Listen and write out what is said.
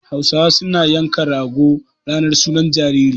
Hausawa suna yanka rago ranar sunan jariri.